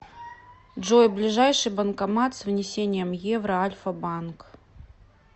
джой ближайший банкомат с внесением евро альфа банк